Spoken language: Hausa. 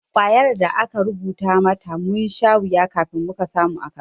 Kwayar da aka rubuta mata, mun sha wuya kafin muka samu a kasuwa.